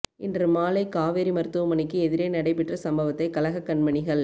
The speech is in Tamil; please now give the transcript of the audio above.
இன்று மாலை காவேரி மருத்துவமனைக்கு எதிரே நடைபெற்ற சம்பவத்தை கழகக் கண்மணிகள்